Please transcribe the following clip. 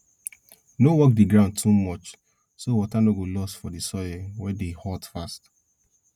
no work di ground too much so water no go loss for di soil wey dey hot fast